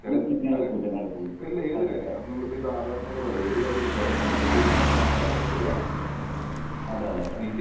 നേരെ പോവില്ല നേരെ പോവില്ല. അതെ അതെ അതെ.